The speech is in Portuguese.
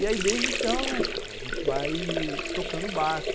E aí, desde então, né cara, a gente vai tocando o barco.